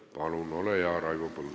Palun, ole hea, Raivo Põldaru!